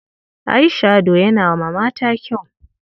Eye-shadow yana ma mata kyau.